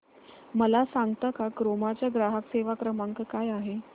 मला सांगता का क्रोमा चा ग्राहक सेवा क्रमांक काय आहे